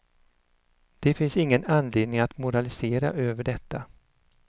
Det finns ingen anledning att moralisera över detta.